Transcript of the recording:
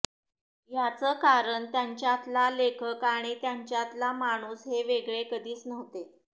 याचं कारण त्यांच्यातला लेखक आणि त्यांच्यातला माणूस हे वेगळे कधीच नव्हते